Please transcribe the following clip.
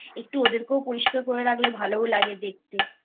একটু ওদেরকেও পরিষ্কার করে রাখলে ভালো লাগে দেখতেI